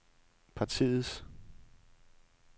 partiets